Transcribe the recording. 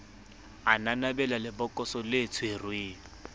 a nanabela lebokoso le tshwereng